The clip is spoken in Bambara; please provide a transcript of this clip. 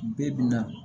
Bi bi in na